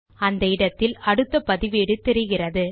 அந்த இடத்தில் அடுத்த பதிவேடு தெரிகிறது